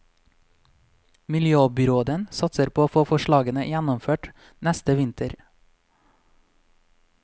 Miljøbyråden satser på å få forslagene gjennomført neste vinter.